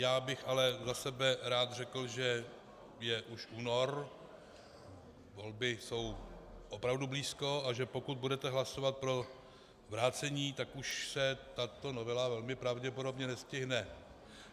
Já bych ale za sebe rád řekl, že je už únor, volby jsou opravdu blízko, a že pokud budete hlasovat pro vrácení, tak už se tato novela velmi pravděpodobně nestihne.